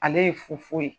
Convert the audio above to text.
Ale ye fofoyi